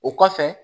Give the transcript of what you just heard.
O kɔfɛ